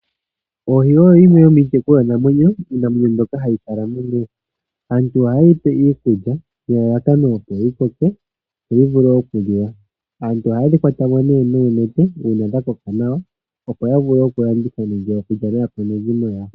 Oohi oyo yimwe yomiitekulwa namwenyo, iinamwenyo mbyoka hayi kala momeya. Aantu oha ye yi pe iikulya nelalakano opo yi koke opo yi vule okuliwa. Aantu ohaye dhi kwata mo nee nuunete uuna dha koka nawa opo ya vule oku landitha nenge okulya naakwanezimo yawo.